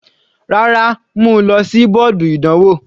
Rárá, mú u lọ sí bọ́ọ̀dù ìdánwò.